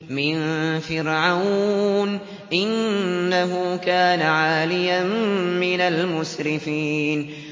مِن فِرْعَوْنَ ۚ إِنَّهُ كَانَ عَالِيًا مِّنَ الْمُسْرِفِينَ